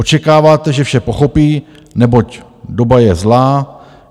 Očekáváte, že vše pochopí, neboť doba je zlá.